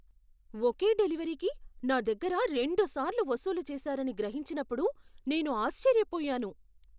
ఒకే డెలివరీకి నా దగ్గర రెండుసార్లు వసూలు చేశారని గ్రహించినప్పుడు నేను ఆశ్చర్యపోయాను!